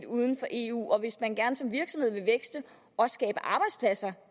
uden for eu og hvis man gerne som virksomhed vil vækste og